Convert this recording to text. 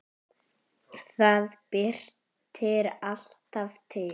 Það birtir alltaf til.